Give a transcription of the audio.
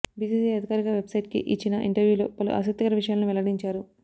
BCCI అధికారిక వెబ్సైట్కి ఇచ్చిన ఇంటర్యూలో పలు ఆసక్తికర విషయాలను వెల్లడించారు